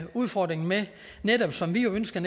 udfordringen med netop som vi ønsker